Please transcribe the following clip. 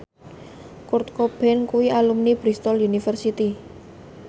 Kurt Cobain kuwi alumni Bristol university